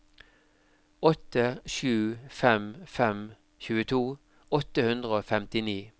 åtte sju fem fem tjueto åtte hundre og femtini